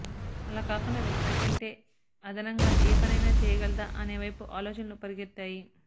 అలాకాకుండా వ్యక్తి కంటే అదనంగా ఏ పనైనా చేయగలదా అనే వైపు ఆలోచనలు పరుగెత్తాయి